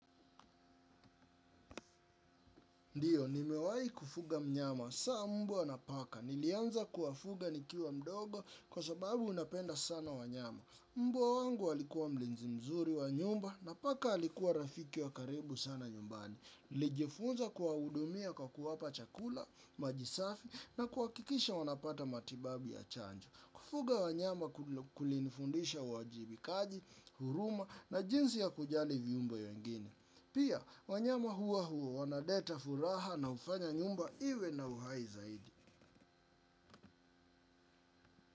Ndiyo, nimewai kufuga mnyama. Saa mbwa na paka. Nilianza kuwafuga nikiwa mdogo kwa sababu napenda sana wanyama. Mbwa wangu alikuwa mlinzi mzuri wa nyumba na paka alikuwa rafiki wa karibu sana nyumbani. Nilijifunza kuwahudumia kwa kuwapa chakula, maji safi na kuakikisha wanapata matibabu ya chanjo. Kufuga wanyama kulinfundisha uwajibikaji, huruma na jinsi ya kujali viumbe wengine. Pia, wanyama hua wanaleta furaha na ufanya nyumba iwe na uhai zaidi.